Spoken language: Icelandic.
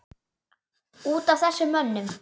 Út af þessum mönnum?